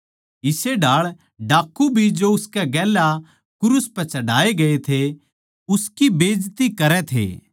इस्से ढाळ डाक्कू भी जो उसकै गेल्या क्रूस पै चढ़ाए गए थे उसकी बेजती करै थे